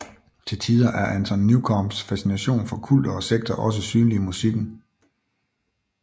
Til tider er Anton Newcombes fascination for kulter og sekter også synlig i musikken